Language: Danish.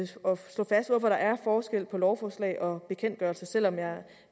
slå fast hvorfor der er forskel på lovforslag og bekendtgørelser selv om jeg